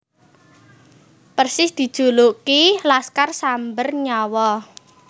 Persis dijuluki Laskar Samber Nyawa